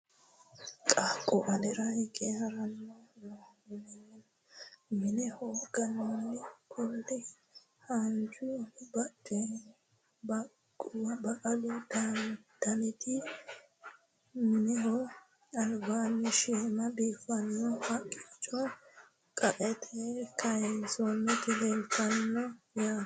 Qaaqqu alirra higge harranni nooho. minneho ganonni kuuli haanijju baqqalu dannati minneho alibbanino shiima biifanno haqichcho qaete kaayinnisoniti leelitano yaate